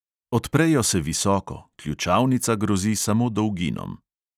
Odprejo se visoko, ključavnica grozi samo dolginom.